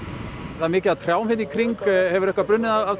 það er mikið af trjám hérna í kring hefur eitthvað brunnið af